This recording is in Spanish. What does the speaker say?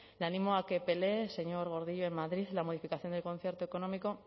le animo a que pelee señor gordillo en madrid la modificación del concierto económico